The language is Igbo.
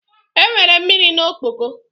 Enwere mmiri na ọkpọkọ